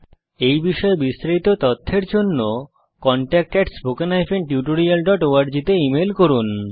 এই বিষয়ে বিস্তারিত তথ্যের জন্য কনট্যাক্ট spoken tutorialorg তে ইমেল করুন